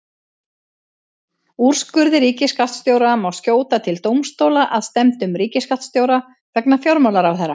Úrskurði ríkisskattstjóra má skjóta til dómstóla að stefndum ríkisskattstjóra vegna fjármálaráðherra.